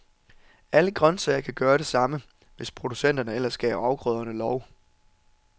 Alle grøntsager kan gøre det samme, hvis producenterne ellers gav afgrøderne lov.